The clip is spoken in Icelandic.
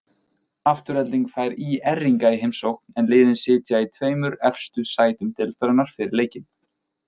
Afturelding fær ÍR-inga í heimsókn, en liðin sitja í tveimur efstu sætum deildarinnar fyrir leikinn.